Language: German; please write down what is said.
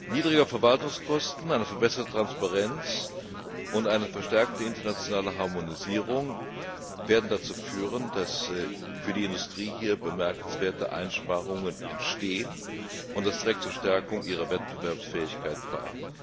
Niedrigere Verwaltungskosten, eine verbesserte Transparenz und eine verstärkte internationale Harmonisierung werden dazu führen, dass für die Industrie bemerkenswerte Einsparungen entstehen, und das trägt zur Stärkung ihrer Wettbewerbsfähigkeit bei.